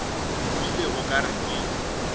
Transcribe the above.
bile o ka re ke